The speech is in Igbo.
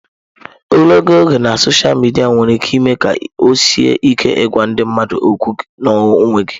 Ogologo oge na sọsha midia nwere ike ime ka ọ sie ike ịgwa ndị mmadụ okwu n'onwe gị.